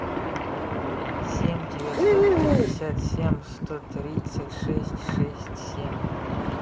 семь девятьсот пятьдесят семь сто тридцать шесть шесть семь